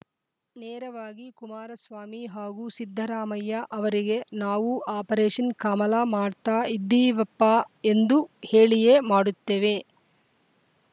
ನೇರವಾಗಿ ಕುಮಾರಸ್ವಾಮಿ ಹಾಗೂ ಸಿದ್ದರಾಮಯ್ಯ ಅವರಿಗೆ ನಾವು ಆಪರೇಷನ್‌ ಕಮಲ ಮಾಡ್ತಾ ಇದ್ದೀವಪ್ಪಾ ಎಂದು ಹೇಳಿಯೇ ಮಾಡುತ್ತೇವೆ